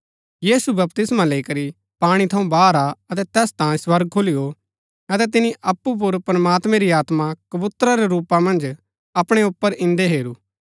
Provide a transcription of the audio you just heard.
यीशु बपतिस्मा लैई करी पाणी थऊँ बाहर आ अतै तैस तांयें स्वर्ग खुली गो अतै तिनी अप्पु पुर प्रमात्मैं री आत्मा कबूतरा रै रूपा मन्ज अपणै ऊपर इन्दै हेरू